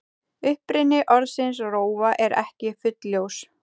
Uppruni orðsins rófa er ekki fullljós.